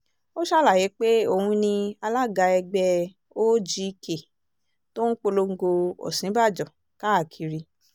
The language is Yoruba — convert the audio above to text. ó ṣàlàyé pé òun ni alága ẹgbẹ́ ogk tó ń polongo òsínbàjò káàkiri